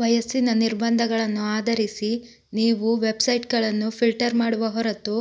ವಯಸ್ಸಿನ ನಿರ್ಬಂಧಗಳನ್ನು ಆಧರಿಸಿ ನೀವು ವೆಬ್ಸೈಟ್ಗಳನ್ನು ಫಿಲ್ಟರ್ ಮಾಡುವ ಹೊರತು